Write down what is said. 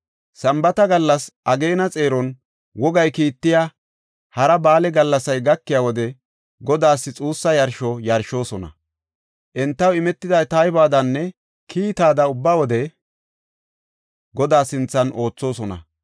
Sambaata gallas, ageena xeeron, wogay kiittiya hara ba7aale gallasay gakiya wode Godaas xuussa yarsho yarshoosona. Entaw imetida taybuwadanne kiitaada ubba wode Godaa sinthan oothosona.